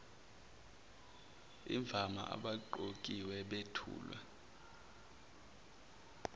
imvama abaqokiwe bethulwa